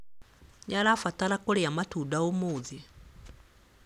Nĩarabatara kũrĩa matunda ũmũthĩ